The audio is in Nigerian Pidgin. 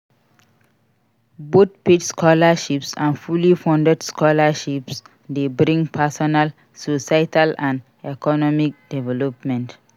Both paid scholarships and fully funded scholarships de bring personal, societal and economic development